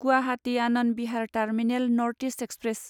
Guwahati Anand Vihar terminal north east express